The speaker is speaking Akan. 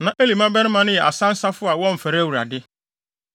Na Eli mmabarima no yɛ asansafo a wɔmfɛre Awurade,